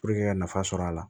ka nafa sɔrɔ a la